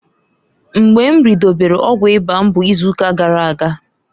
Mgba m ridobelu ọgwụ ịba m bu izuuka gara aga.